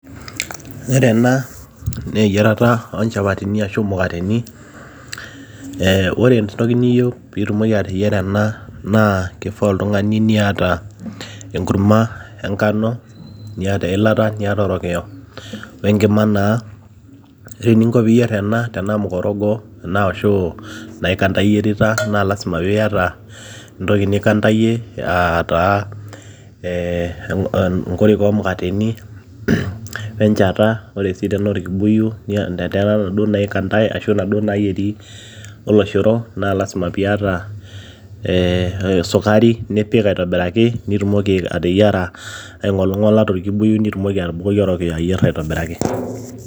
Pre ena naa eyiarata oonchapatini eeh ore entoki niyieu piitumoki ateyiara enaa keifaa oltung'ani niata enkurma enkano niata eilata niata orokiyo wenkima naa ore eninko peiyier ena tenaa mukorogo ena ashuu naikanda iyierita naa lazima peiyata entoki ninkantayie eataa onkorika oomukateni wenchata wore sii tenaa orkibuyu letaa inaduo naikantae ashuu inaduo naayieri oloshoro naa lazima piata eeh sukari nipik aitobiraki peitumoki ateyiara aing'oling'ola torkibuyu nitumoki atubukoki orokiyo ayier aitobiraki.